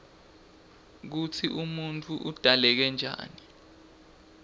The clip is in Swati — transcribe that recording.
kutsi umuntfu udzaleke njani